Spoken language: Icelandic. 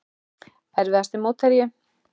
Erfiðasti mótherji?